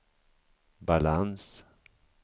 balans